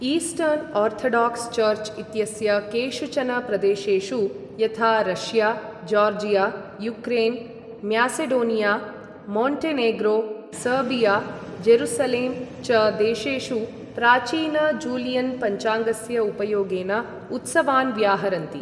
Eastern orthodox church इत्यस्य केषुचन प्रदेशेषु, यथा Russia, Georgia, Ukraine, Macedonia, Montenegro, Serbia, Jerusalem च देशेषु प्राचीन जूलियन् पञ्चाङ्गस्य उपयोगेन उत्सवान् व्याहरन्ति।